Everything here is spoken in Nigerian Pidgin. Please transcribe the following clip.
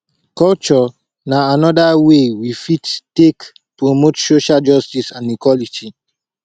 culture na anoda way wey fit take promote social justice and equality